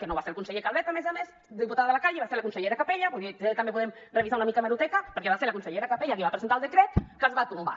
que no va ser el conseller calvet a més a més diputada de la calle va ser la consellera capella vull dir també podem revisar una mica hemeroteca perquè va ser la consellera capella qui va presentar el decret que es va tombar